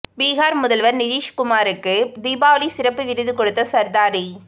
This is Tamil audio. பீகார் முதல்வர் நிதிஷ் குமாருக்கு தீபாவளி சிறப்பு விருந்து கொடுத்த சர்தாரி